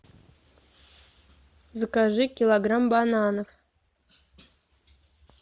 закажи килограмм бананов